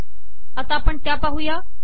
आता त्या पण पाहू